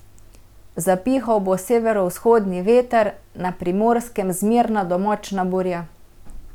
Zapihal bo severovzhodni veter, na Primorskem zmerna do močna burja.